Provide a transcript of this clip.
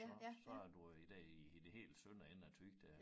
Så så er du øh i dér i i det helt sønder ende af Thy dér